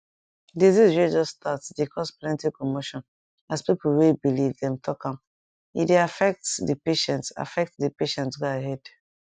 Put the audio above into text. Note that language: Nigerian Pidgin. disease way just start dey cause plenty commotion as pepo way believe dem talk am e dey affect the patient affect the patient go ahead